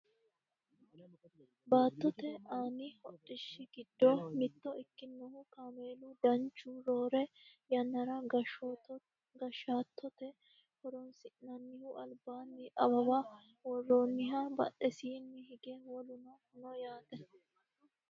Baattote aani hodhishshi giddo mitto ikkinohu kameelu danchu roore yannara goshattote horonsi'nannihu albaanni awawa worroonniha badhesiinni hige woluno no yaate